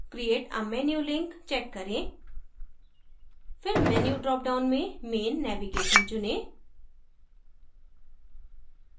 create a menu link check करें फिर menu dropdown में main navigation चुनें